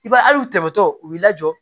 I b'a ye ali tɛmɛtɔ u b'i lajɔ